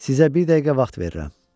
Sizə bir dəqiqə vaxt verirəm.